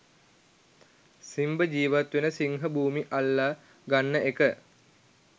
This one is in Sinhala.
සිම්බ ජීවත් වෙන සිංහ භූමි අල්ල ගන්න එක